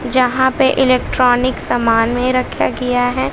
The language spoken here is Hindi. यहां पे इलेक्ट्रॉनिक समान में रखा गया है।